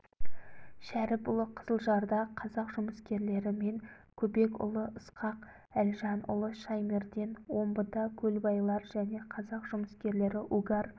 шәріпұлы қызылжарда қазақ жұмыскерлері мен көбекұлы ысқақ әлжанұлы шаймерден омбыда көлбайлар және қазақ жұмыскерлері угар